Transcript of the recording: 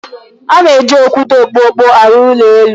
A na-eji okwute okpokpo arụ ụlọ elu.